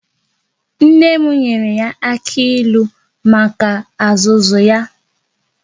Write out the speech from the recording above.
Nne m nyere ya aka ilu maka azụzu ya